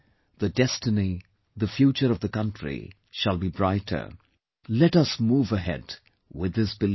The destiny, the future of the country shall be brighter, let us move ahead with this belief